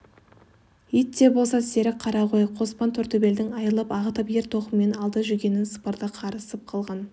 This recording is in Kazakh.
ит те болса серік қара ғой қоспан тортөбелдің айылын ағытып ер-тоқымын алды жүгенін сыпырды қарысып қалған